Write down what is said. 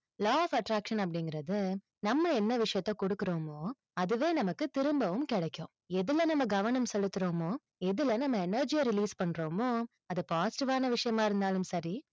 law of attraction அப்படிங்கிறது, நம்ம என்ன விஷயத்தை கொடுக்கிறோமோ, அதுவே நமக்கு திரும்பவும் கிடைக்கும். எதுல நம்ம கவனம் செலுத்துறோமோ, எதுல நம்ம energy ய release பண்றோமோ, அது positive வான விஷயமா இருந்தாலும் சரி,